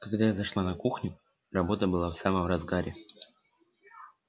когда я зашла на кухню работа была в самом разгаре